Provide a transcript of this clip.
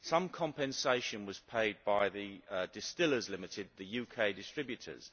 Some compensation was paid by the Distillers Company Ltd, the UK distributors,